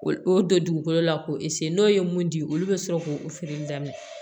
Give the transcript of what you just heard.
O don dugukolo la k'o n'o ye mun di olu bɛ sɔrɔ k'o o feereli daminɛ